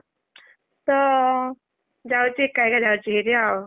ତ ଯାଉଚି ଏକା ଯାଉଚି ଭାରି ଆଉ।